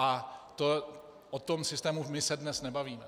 A o tom systému my se dnes nebavíme.